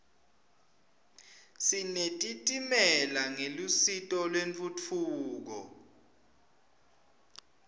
sinetitimela ngelusito lentfutfuko